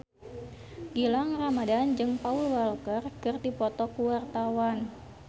Gilang Ramadan jeung Paul Walker keur dipoto ku wartawan